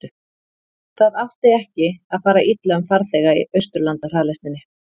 það átti ekki að fara illa um farþega í austurlandahraðlestinni